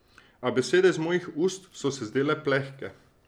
A besede iz mojih ust so se zdele plehke.